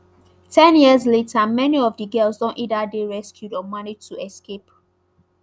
ten years later many of di girls don either dey rescued or manage to escape